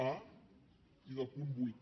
a i del punt vuit